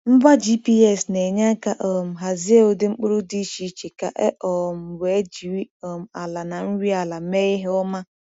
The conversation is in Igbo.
Ngwa GPS na-enye aka um hazie ụdị mkpụrụ dị iche iche ka e um wee jiri um ala na nri ala mee ihe ọma.